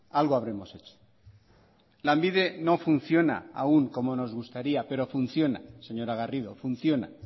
algo habremos hecho lanbide no funciona aún como nos gustaría pero funciona señora garrido funciona